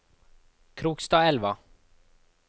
Krokstadelva